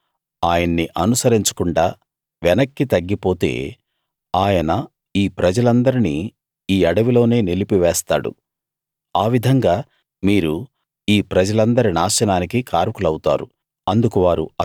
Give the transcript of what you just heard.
మీరు ఆయన్ని అనుసరించకుండా వెనక్కి తగ్గిపోతే ఆయన ఈ ప్రజలందరినీ ఈ అడవిలోనే నిలిపివేస్తాడు ఆ విధంగా మీరు ఈ ప్రజలందరి నాశనానికి కారకులౌతారు